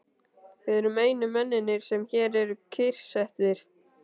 Við erum einu mennirnir, sem hér eru kyrrsettir.